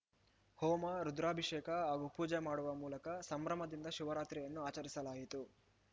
ಹೋಮ ರುದ್ರಾಭಿಷೇಕ ಹಾಗೂ ಪೂಜೆ ಮಾಡುವ ಮೂಲಕ ಸಂಭ್ರಮದಿಂದ ಶಿವರಾತ್ರಿಯನ್ನು ಆಚರಿಸಲಾಯಿತು